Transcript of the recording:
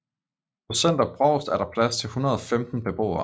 På Center Brovst er der plads til 115 beboere